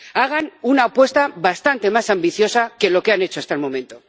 Hagan una apuesta bastante más ambiciosa que la que han hecho hasta el momento.